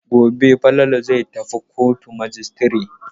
Gobe Falalu zai tafi kotun majistire.